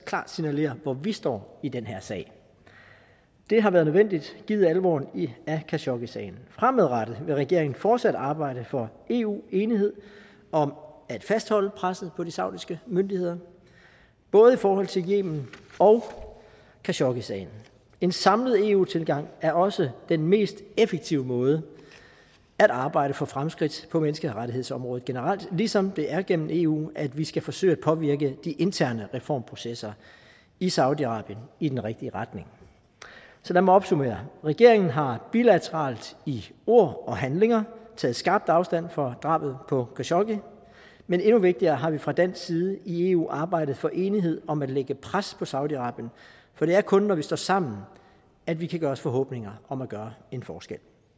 klart signalerer hvor vi står i den her sag det har været nødvendigt givet alvoren af khashoggisagen fremadrettet vil regeringen fortsat arbejde for eu enighed om at fastholde presset på de saudiske myndigheder både i forhold til yemen og khashoggisagen en samlet eu tilgang er også den mest effektive måde at arbejde for fremskridt på menneskerettighedsområdet generelt ligesom det er gennem eu at vi skal forsøge at påvirke de interne reformprocesser i saudi arabien i den rigtige retning så lad mig opsummere regeringen har bilateralt i ord og handlinger taget skarpt afstand fra drabet på khashoggi men endnu vigtigere har vi fra dansk side i eu arbejdet for enighed om at lægge pres på saudi arabien for det er kun når vi står sammen at vi kan gøre os forhåbninger om at gøre en forskel